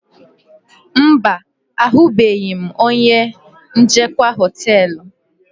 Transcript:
Mba, ahụbeghị m onye njikwa hoteelu.